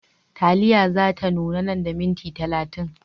Taliya za ta nuna nan da minti talatin.